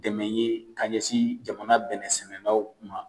Dɛmɛ ye ka ɲɛsin jamana bɛnɛ sɛnɛlaw ma